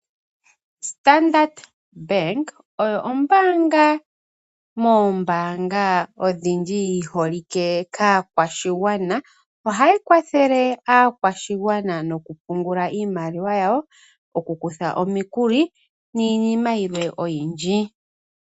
Standard Bank oyo ombaanga moombaanga odhindji yi holike kaakwashigwana. Ohayi kwathele aakwashigwana nokupungula iimaliwa yawo, okukutha omikuli niinima yilwe oyindji.